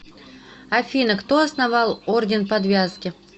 афина кто основал орден подвязки